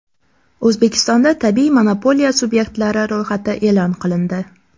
O‘zbekistonda tabiiy monopoliya subyektlari ro‘yxati e’lon qilindi.